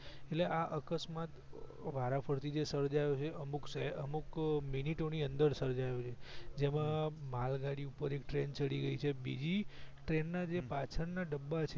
એટલે આ અકસ્માત વારાફરથી જે સર્જાયો છે અમુક સે અમુક મીનીટો ની અંદર સર્જાયા છે જેમાં માલગાડી ઉપર એક ટ્રેન ચડી ગઈ છે બીજી ટ્રેન ના જે પાછળ ડબ્બા છે